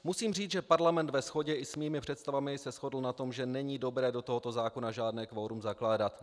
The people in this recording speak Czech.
"Musím říct, že parlament ve shodě i s mými představami se shodl na tom, že není dobré do tohoto zákona žádné kvorum zakládat.